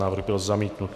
Návrh byl zamítnut.